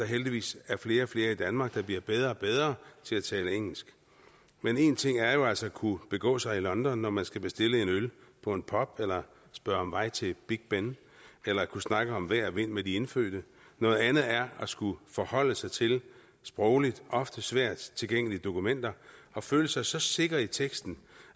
heldigvis flere og flere i danmark der bliver bedre og bedre til at tale engelsk men en ting er jo altså at kunne begå sig i london når man skal bestille en øl på en pub eller spørge om vej til big ben eller kunne snakke om vejr og vind med de indfødte noget andet er at skulle forholde sig til sprogligt ofte svært tilgængelige dokumenter og føle sig så sikker i teksten